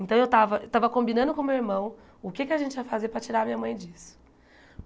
Então eu estava estava combinando com o meu irmão o que é que a gente ia fazer para tirar a minha mãe disso.